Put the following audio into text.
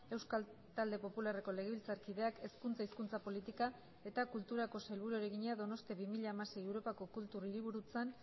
euskal talde popularreko legebiltzarkideak hezkuntza hizkuntza politika eta kulturako sailburuari egina donostia bi mila hamasei europako kultur hiriburutzan